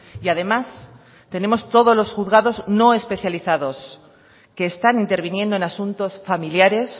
y además tenemos todos los juzgados no especializados que están interviniendo en asuntos familiares